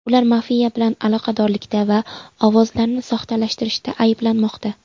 Ular mafiya bilan aloqadorlikda va ovozlarni soxtalashtirishda ayblanmoqda.